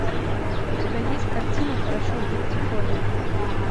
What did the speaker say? у тебя есть картина хорошо быть тихоней